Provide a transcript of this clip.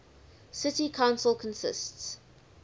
city council consists